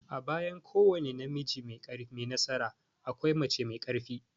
A bayan kowane namiji mai nasara, akwai mace mai ƙarfi.